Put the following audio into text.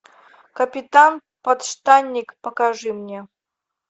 капитан подштанник покажи мне